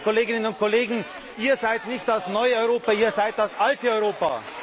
Liebe Kolleginnen und Kollegen, Ihr seid nicht das neue Europa, Ihr seid das alte Europa!